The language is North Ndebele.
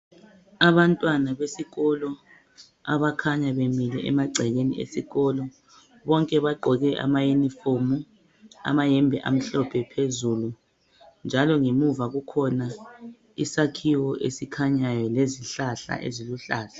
Abantwana besikolo abakhanya bemile emagcekeni esikolo bonke bagqoke ama uniform amayembe amhlophe phezulu njalo ngemuva kukhona isakhiwo esikhanyayo lezihlahla eziluhlaza.